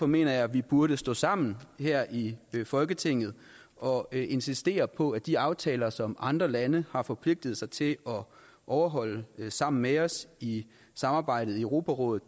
mener jeg vi burde stå sammen her i folketinget og insistere på at de aftaler som andre lande har forpligtet sig til at overholde sammen med os i samarbejdet i europarådet